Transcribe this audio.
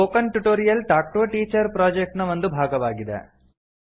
spoken tutorial talk to a teacher project ನ ಒಂದು ಭಾಗವಾಗಿದೆ